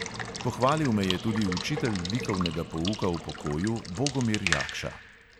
Pohvalil me je tudi učitelj likovnega pouka v pokoju bogomir jakša.